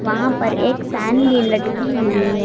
वहां पर एक फैन भी लटकी हुई है।